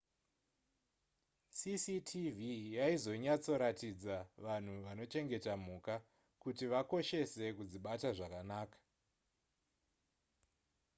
cctv yaizonyatsoratidza vanhu vanochengeta mhuka kuti vakoshese kudzibata zvakanaka